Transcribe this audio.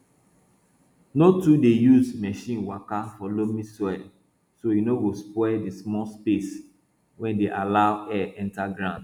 no too dey use machine waka for loamy soil so e no go spoil di small space wey dey allow air enter ground